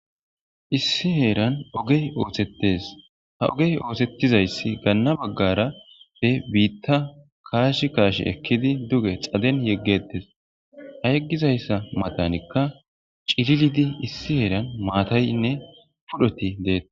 Issi heeran ogey oosettes ha ogey oosettizayssi gaanna baggara pe biitta kaashi kaashi ekkidi duge xaden yeggettes ha yeggizayssa matanikka cirilidi issi heeran maataynne pudhoti deeta.